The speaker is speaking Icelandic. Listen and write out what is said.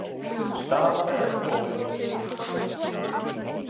Staðan enn óljós